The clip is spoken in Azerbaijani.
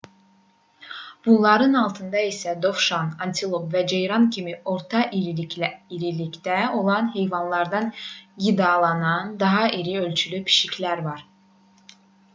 bunların altında isə dovşan antilop və ceyran kimi orta irilikdə olan heyvanlarla qidalanan daha iri-ölçülü pişiklər var